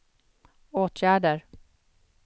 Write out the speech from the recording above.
åtgärder